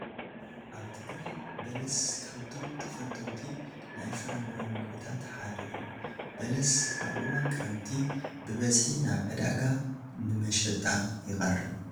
ኣብ ትግራይ በለስ ካብቶም ተፈተውቲ ናይ ፍረ ምረ ምግብታት ሓደ እዩ፡፡ በለስ ኣብ እዋን ክረምቲ ብብዝሒ ናብ ዕዳጋ ንመሸጣ ይቐርብ፡፡